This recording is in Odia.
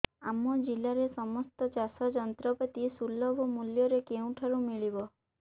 ଆମ ଜିଲ୍ଲାରେ ସମସ୍ତ ଚାଷ ଯନ୍ତ୍ରପାତି ସୁଲଭ ମୁଲ୍ଯରେ କେଉଁଠାରୁ ମିଳିବ